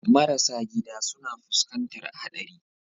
Marasa gida suna fuskantar haɗari.